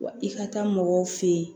Wa i ka taa mɔgɔw fe yen